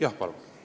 Jah, palun!